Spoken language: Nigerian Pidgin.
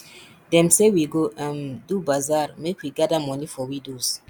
dem say we go um do bazaar make we gather moni for widows